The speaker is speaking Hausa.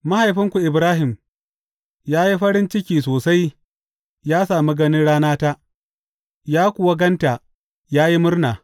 Mahaifinku Ibrahim ya yi farin ciki sosai yă sami ganin ranata; ya kuwa gan ta, ya yi murna.